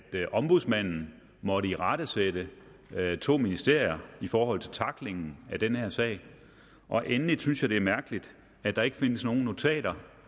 ombudsmanden måtte irettesætte to ministerier for tacklingen af den her sag og endelig synes jeg det er mærkeligt at der ikke findes nogen notater